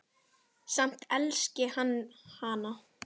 Samt elski hann hana.